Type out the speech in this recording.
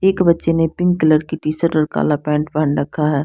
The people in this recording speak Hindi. एक बच्चे ने पिंक कलर की टी शर्ट और काला पैन्ट पेहन रखा है।